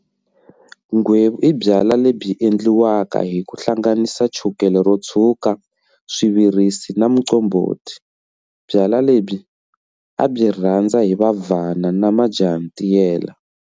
Nghwevu i byalwa lebyi endliwaka hi ku hlanganisa chukele ro tshwuka, swivirisi na muqombhoti. Byalwa lebyi a byi a byi rhandza hi vavhana na majahantiyela.